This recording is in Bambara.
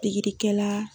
Pikirikɛla